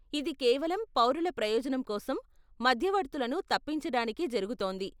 ఇది కేవలం పౌరుల ప్రయోజనం కోసం, మధ్యవర్తులను తప్పించడానికే జరుగుతోంది .